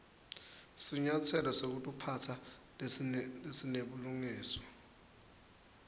sinyatselo setekuphatsa lesinebulungiswa